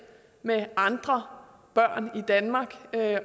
med andre børn i danmark